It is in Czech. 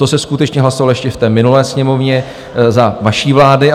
To se skutečně hlasovalo ještě v té minulé Sněmovně za vaší vlády.